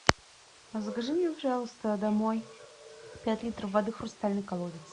закажи мне пожалуйста домой пять литров воды хрустальный колодец